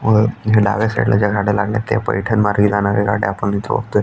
अ डाव्या साईडला ज्या गाड्या लागल्यात त्या पैठण मार्गे जाणाऱ्या गाड्या आपण इथ बघतोय.